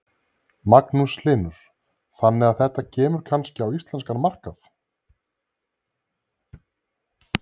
Magnús Hlynur: Þannig að þetta kemur kannski á íslenskan markað?